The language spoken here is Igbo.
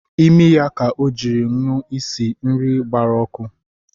Imi ya ka ọ jiri nụ isi nri gbara ọkụ